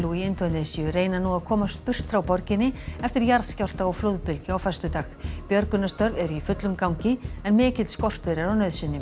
í Indónesíu reyna nú að komast burt frá borginni eftir jarðskjálfta og flóðbylgju á föstudag björgunarstörf eru í fullum gangi en mikill skortur er á nauðsynjum